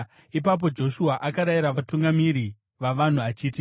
Ipapo Joshua akarayira vatungamiri vavanhu achiti,